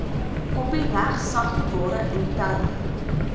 kopiereg sagteware interne